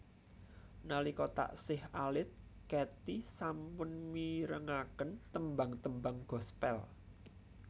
Nalika taksih alit Katy sampun mirengaken tembang tembang gospel